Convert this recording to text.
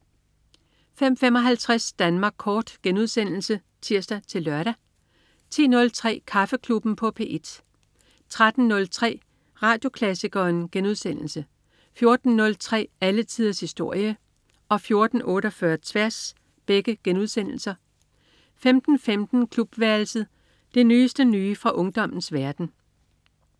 05.55 Danmark kort* (tirs-lør) 10.03 Kaffeklubben på P1 13.03 Radioklassikeren* 14.03 Alle tiders historie* 14.48 Tværs* 15.15 Klubværelset. Det nyeste nye fra ungdommens verden